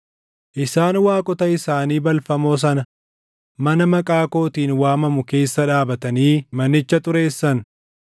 Isaan waaqota isaanii balfamoo sana mana Maqaa kootiin waamamu keessa dhaabatanii manicha xureessan.